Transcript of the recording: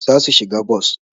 Zasu shiga bos